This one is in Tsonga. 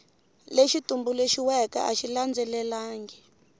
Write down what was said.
lexi tumbuluxiweke a xi landzelelangi